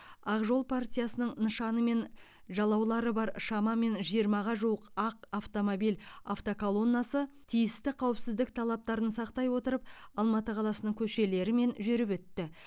ақ жол партиясының нышаны мен жалаулары бар шамамен жиырмаға жуық ақ автомобиль автоколоннасы тиісті қауіпсіздік талаптарын сақтай отырып алматы қаласының көшелерімен жүріп өтті